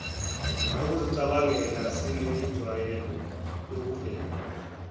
ukuzicabangela sinenjwayelo yokubheka